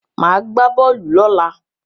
Màá gbá bọ́ọ̀lù lọ́la.